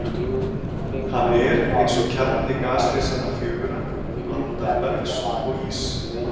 Hann er, eins og kjarni gasrisanna fjögurra, blanda bergs og íss.